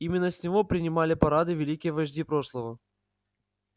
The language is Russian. именно с него принимали парады великие вожди прошлого